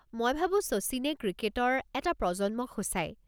মই ভাবো শচীনে ক্ৰিকেটৰ এটা প্ৰজন্মক সূচায়।